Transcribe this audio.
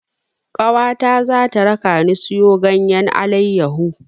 Ƙawata za ta rakani siyo ganyen alayyahu.